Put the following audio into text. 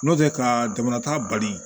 N'o tɛ ka jamana ta bali